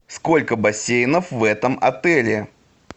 сколько бассейнов в этом отеле